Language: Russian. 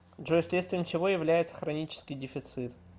джой следствием чего является хронический дефицит